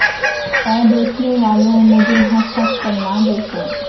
اے دیکھنے والوں مجھے ہنس ہنس کر نہ دیکھو